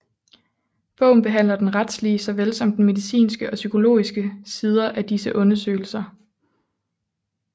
Bogen behandler den retslige såvel som de medicinske og psykologiske sider af disse undersøgelser